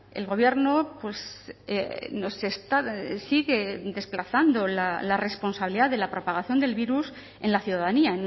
el gobierno nos está sigue desplazando la responsabilidad de la propagación del virus en la ciudadanía